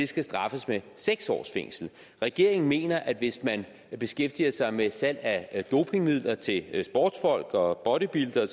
skal straffes med seks års fængsel regeringen mener at hvis man beskæftiger sig med salg af dopingmidler til sportsfolk og bodybuildere